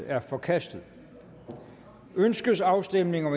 er forkastet ønskes afstemning om